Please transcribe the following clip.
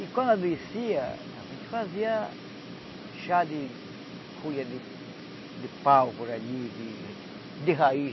E quando adoecia, a gente fazia chá de folha de de pau por ali, de de raiz,